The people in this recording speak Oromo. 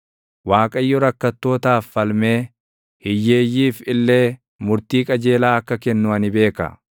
Waaqayyo rakkattootaaf falmee hiyyeeyyiif illee murtii qajeelaa akka kennu ani beeka.